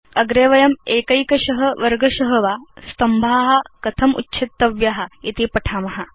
अग्रे वयम् एकैकश वर्गश वा स्तम्भा कथम् उच्छेतव्या इति पठाम